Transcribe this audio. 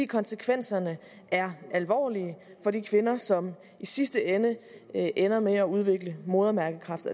konsekvenserne er alvorlige for de kvinder som i sidste ende ender med at udvikle modermærkekræft